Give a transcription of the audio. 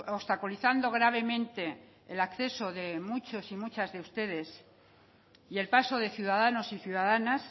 obstaculizando gravemente el acceso de muchos y muchas de ustedes y el paso de ciudadanos y ciudadanas